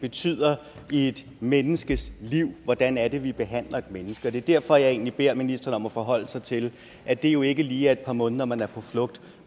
betyder i et menneskes liv hvordan er det vi behandler et menneske det er derfor jeg egentlig beder ministeren om at forholde sig til at det jo ikke lige er et par måneder man er på flugt